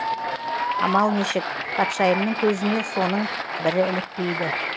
амал нешік патшайымның көзіне соның бірі ілікпейді